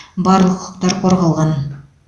барлық құқықтар қорғалған